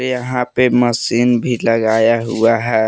यहां पे मशीन भी लगाया हुआ है।